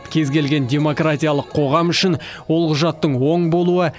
кез келген демократиялық қоғам үшін ол құжаттың оң болуы